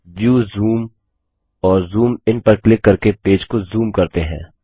view zoom और zoom in पर click करके पेज को ज़ूम करते हैं